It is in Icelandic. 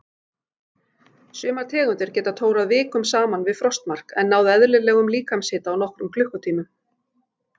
Sumar tegundir geta tórað vikum saman við frostmark en náð eðlilegum líkamshita á nokkrum klukkutímum.